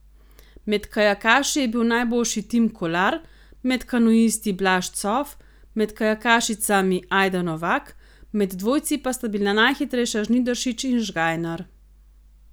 Med kajakaši je bil najboljši Tim Kolar, med kanuisti Blaž Cof, med kajakašicami Ajda Novak, med dvojci pa sta bila najhitrejša Žnidaršič in Žgajnar.